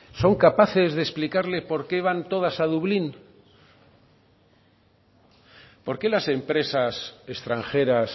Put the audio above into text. son capaces de explicarle porque todas van a dublín por qué las empresas extranjeras